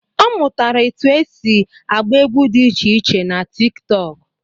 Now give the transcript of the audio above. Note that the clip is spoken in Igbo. Ọ mụtara etu esi agba egwu dị icheiche na tiktok